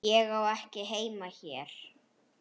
Ég á ekki heima hér.